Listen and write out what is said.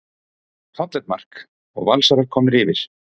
Fallegt mark og Valsarar komnir yfir.